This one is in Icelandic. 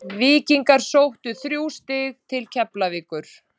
Víkingar sóttu þrjú stig til Keflavíkur.